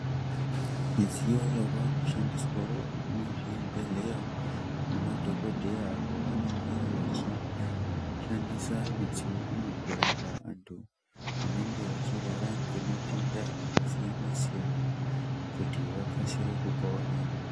Midziyo yavakushandiswavo muzvibhedhleya nemadhogodheya apo pavanenge vachishandisa michini iyi kurapa antu. Anenge achirwara ngematenda akasiyana-siyana kuti vakasire kupona.